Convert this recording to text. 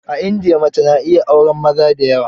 A india, mace na iya auren maza da yawa.